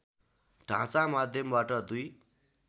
ढाँचा माध्यमबाट दुई